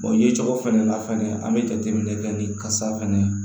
ye cogo fana la fɛnɛ an bɛ jateminɛ kɛ ni kasa fɛnɛ ye